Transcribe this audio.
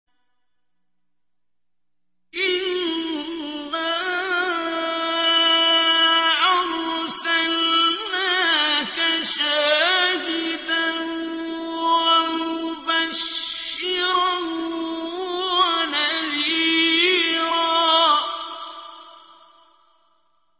إِنَّا أَرْسَلْنَاكَ شَاهِدًا وَمُبَشِّرًا وَنَذِيرًا